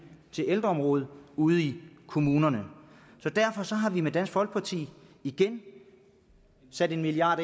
til ældreområdet ude i kommunerne derfor har vi i dansk folkeparti igen sat en milliard